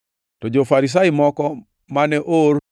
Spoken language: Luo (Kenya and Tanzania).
To jo-Farisai moko ma noor,